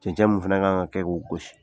Cɛncɛ min fɛnɛ kan ka kɛ' o gosi